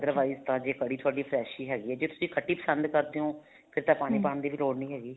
otherwise ਤਾਂ ਜੇ ਕੜੀ ਤੁਹਾਡੀ fresh ਹੀ ਹੈਗੀ ਹੈ ਜੇ ਤੁਸੀਂ ਖੱਟੀ ਪਸੰਦ ਕਰਦੇ ਹੋ ਫ਼ਿਰ ਤਾਂ ਪਾਣੀ ਪਾਣ ਦੀ ਵੀ ਲੋੜ ਨਹੀਂ ਹੈਗੀ